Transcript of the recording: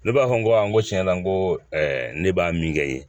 Ne b'a fɔ n ko a n ko tiɲɛ la n ko ne b'a min kɛ i ye